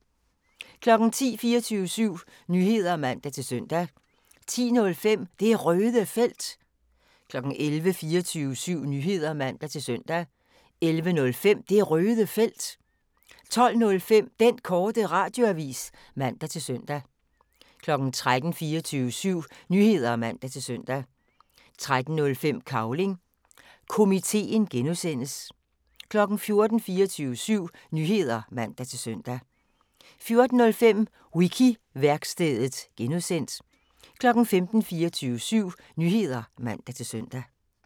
10:00: 24syv Nyheder (man-søn) 10:05: Det Røde Felt 11:00: 24syv Nyheder (man-søn) 11:05: Det Røde Felt 12:05: Den Korte Radioavis (man-fre) 13:00: 24syv Nyheder (man-søn) 13:05: Cavling Komiteen (G) 14:00: 24syv Nyheder (man-søn) 14:05: Wiki-værkstedet (G) 15:00: 24syv Nyheder (man-søn)